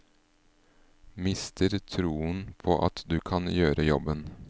Mister troen på at du kan gjøre jobben.